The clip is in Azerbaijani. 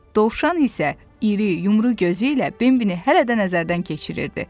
Dovşan isə iri, yumru gözü ilə Bembini hələ də nəzərdən keçirirdi.